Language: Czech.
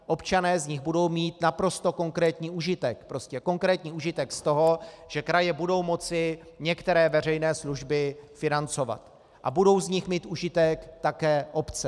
Občané z nich budou mít naprosto konkrétní užitek, prostě konkrétní užitek z toho, že kraje budou moci některé veřejné služby financovat, a budou z nich mít užitek také obce.